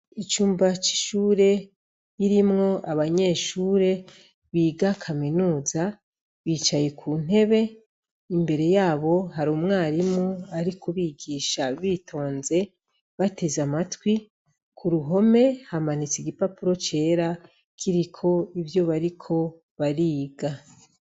Icumba c'ishure yirimwo abanyeshure biga akaminuza bicaye ku ntebe imbere yabo hari umwarimu ari ku bigisha bitonze bateze amatwi ku ruhome hamanitse igipapuro cera kiriko ivyo bariko bari iga.